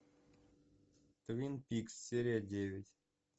твин пикс серия девять